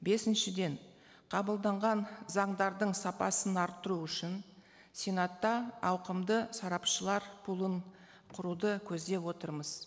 бесіншіден қабылданған заңдардың сапасын арттыру үшін сенатта ауқымды сарапшылар пулын құруды көздеп отырмыз